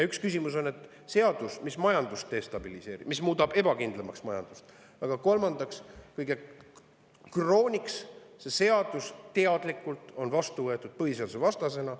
Üks on, et see seadus destabiliseerib meie majandust ja muudab selle ebakindlamaks, kõige krooniks on see teadlikult vastu võetud põhiseadusvastasena.